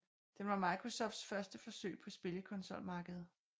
Den var Microsofts første forsøg på spillekonsolmarkedet